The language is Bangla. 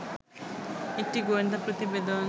একটি গোয়েন্দা প্রতিবেদন